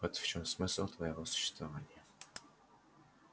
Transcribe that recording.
вот в чём смысл твоего существования